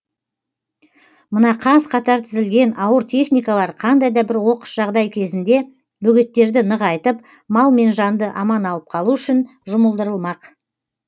мына қаз қатар тізілген ауыр техникалар қандай да бір оқыс жағдай кезінде бөгеттерді нығайтып мал мен жанды аман алып қалу үшін жұмылдырылмақ